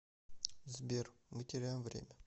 сбер мы теряем время